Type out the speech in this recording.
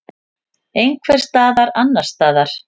Einhvers staðar annars staðar.